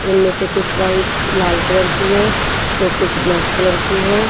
उनमें से कुछ वाइट लाल कलर की है तो कुछ ब्लैक कलर की है।